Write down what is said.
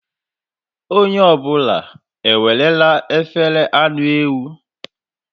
Onye ọ bụla enwere efere anụ ewu?